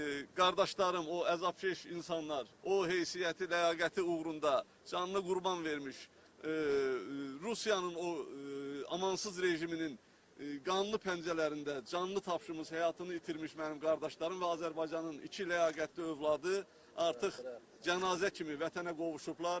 Qardaşlarım, o əzabkeş insanlar, o heysiyyəti, ləyaqəti uğrunda canını qurban vermiş Rusiyanın o amansız rejiminin qanlı pəncərələrində canını tapşımış, həyatını itirmiş mənim qardaşlarım və Azərbaycanın iki ləyaqətli övladı artıq cənazə kimi Vətənə qovuşublar.